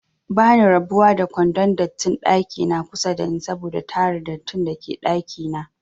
Bani rabuwa da kwandon dattin ɗakina kusa dani saboda tara dattin dake ɗakina